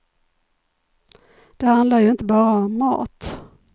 Det handlar ju inte bara om mat.